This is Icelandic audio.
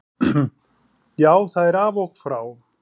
Já, það er af og frá.